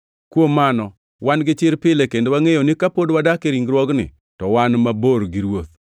Kuom mano, wan gi chir pile, kendo wangʼeyo ni ka pod wadak e ringruogni, to wan mabor gi Ruoth.